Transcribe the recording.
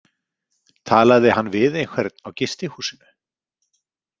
Talaði hann við einhvern á gistihúsinu?